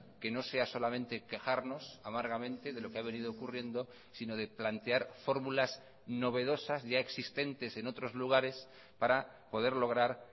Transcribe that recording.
que no sea solamente quejarnos amargamente de lo que ha venido ocurriendo sino de plantear fórmulas novedosas ya existentes en otros lugares para poder lograr